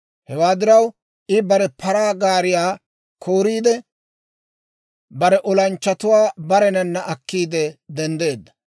Hewaa diraw, I bare paraa gaariyaa kooriide, bare olanchchatuwaa barenana akkiide denddeedda.